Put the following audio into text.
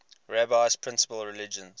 rabbi's principal religious